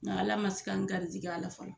Nka Ala ma se ka n garijɛgɛ a la fɔlɔ